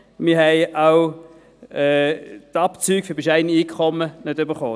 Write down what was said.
Wir haben auch die Abzüge für bescheidene Einkommen nicht erhalten.